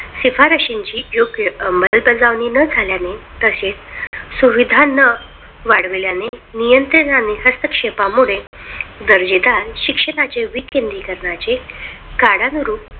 शिफारशीची योग्य अंमलबजावणी न झाल्याने तसेच सुविधांना वाढविल्याने नियंत्रण आणि हस्तक्षेपामुळे दर्जेदार शिक्षणाचे विकेंद्रीकरणाचे काळानुरूप